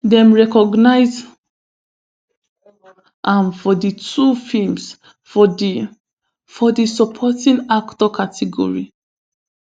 dem recognise am for di two feems for di for di supporting actor category